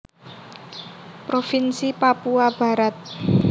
Provinsi Papua Barat